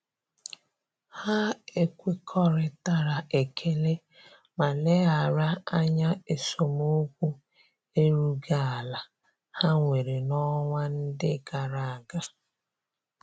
Ha ekwekoritara ekele ma leghara anya esemokwu erughi ala ha nwere na-onwa ndi agaraga.